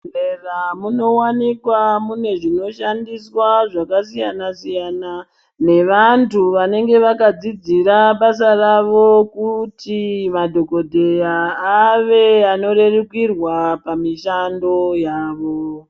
Muzvibhedhlera muno wanikwawo mune zvinoshandiswa zvakasiyana siyana nevantu vanenge vakadzidzira basa ravo kuti madhokodheya arerikurwe pamishando yavo.